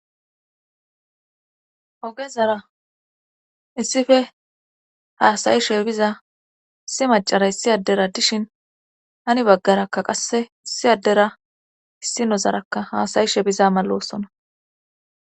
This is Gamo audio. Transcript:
Ogezara issippe haassa'ishshe biza issi macassay issi addera dishshin hani baggarakka qasse issi addera issi nozarakka haasayishe biza malossona